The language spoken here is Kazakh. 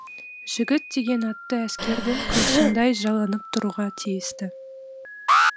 жігіт деген атты әскердің қылышындай жаланып тұруға тиісті